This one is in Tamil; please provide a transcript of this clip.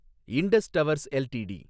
Indies Towers LTD